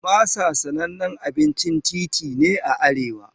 Masa sanannen abincin titi ne a arewa.